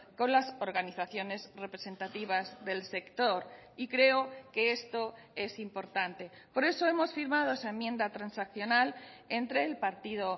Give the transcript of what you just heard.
con las organizaciones representativas del sector y creo que esto es importante por eso hemos firmado esa enmienda transaccional entre el partido